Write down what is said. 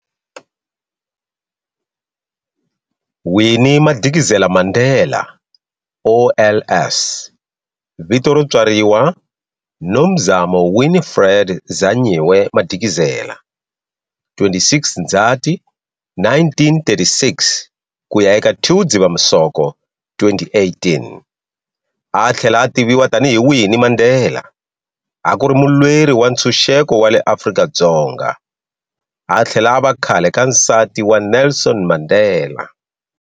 Winnie Madikizela-Mandela, OLS, Vito ro tswariwa Nomzamo Winifred Zanyiwe Madikizela, 26 Ndhzati 1936-2 Dzivamisoko 2018, athlela a tiviwa tanihi Winnie Mandela, akuri mulweri wantshuxeko wale Afrika-Dzonga, athlela ava khlale ka nsati wa Nelson Mandela.